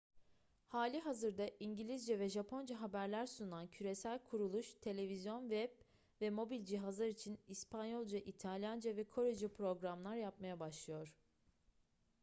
halihazırda i̇ngilizce ve japonca haberler sunan küresel kuruluş; televizyon web ve mobil cihazlar için i̇spanyolca i̇talyanca ve korece programlar yapmaya başlıyor